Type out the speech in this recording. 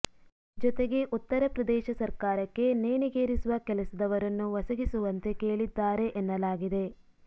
ಜೊತೆಗೆ ಉತ್ತರ ಪ್ರದೇಶ ಸರ್ಕಾರಕ್ಕೆ ನೇಣಿಗೇರಿಸುವ ಕೆಲಸದವರನ್ನು ಒಸಗಿಸುವಂತೆ ಕೇಳಿದ್ದಾರೆ ಎನ್ನಲಾಗಿದೆ